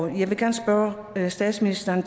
jeg vil gerne spørge statsministeren